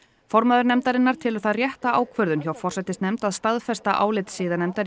formaður nefndarinnar telur það rétta ákvörðun hjá forsætisnefnd að staðfesta álit siðanefndar